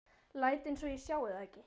Læt einsog ég sjái það ekki.